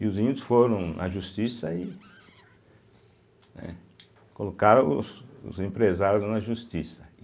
E os índios foram à justiça e né, colocaram os os empresários na justiça.